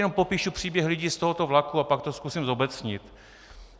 Jen popíšu příběh lidí z tohoto vlaku a pak to zkusím zobecnit.